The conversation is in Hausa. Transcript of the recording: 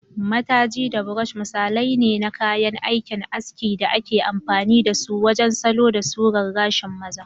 Matajii da brushi misalai ne na kayan aikin aski da ake amfani da su wajen salo da surar gashin maza.